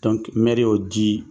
mɛri y'o di